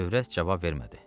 Övrət cavab vermədi.